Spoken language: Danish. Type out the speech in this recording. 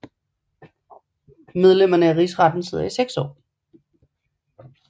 Medlemmerne af Rigsretten sidder i seks år